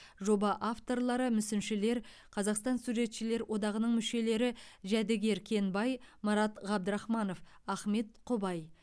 жоба авторлары мүсіншілер қазақстан суретшілер одағының мүшелері жәдігер кенбай марат ғабдырахманов ахмет құбай